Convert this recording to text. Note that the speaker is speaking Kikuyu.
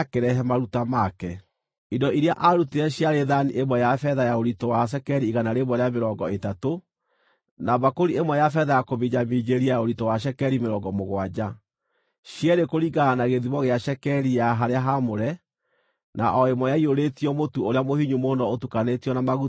Indo iria aarutire ciarĩ thaani ĩmwe ya betha ya ũritũ wa cekeri igana rĩa mĩrongo ĩtatũ, na mbakũri ĩmwe ya betha ya kũminjaminjĩria ya ũritũ wa cekeri mĩrongo mũgwanja, cierĩ kũringana na gĩthimo gĩa cekeri ya harĩa haamũre, na o ĩmwe ĩiyũrĩtio mũtu ũrĩa mũhinyu mũno ũtukanĩtio na maguta, ũrĩ iruta rĩa mũtu;